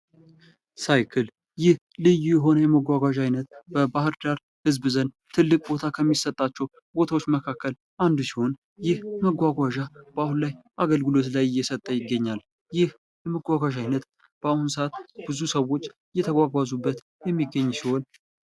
ሳይክል ይህ ልዩ የሆነ የመጓጓዣ ዓይነት በባህር ዳር ህዝብ ዘንድ ትልቅ ቦታ ከሚሰጣቸው ቦታዎች መካከል አንዱ ሲሆን ይህ መጓጓዣ በአሁኑ ላይ አገልግሎት ላይ እየሰጠ ይገኛል። ይህ የመጓጓዣ ዓይነት በአሁኑ ሰዓት ብዙ ሰዎች እየተጓጓዙበት የሚገኝ ሲሆን።